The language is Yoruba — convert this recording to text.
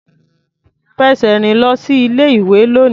Fẹsẹ̀ rìn lọ sí ilé-ìwé lónìí.